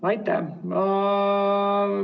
Aitäh!